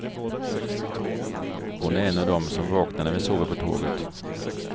Hon är en av dem som vaknar när vi sover på tåget.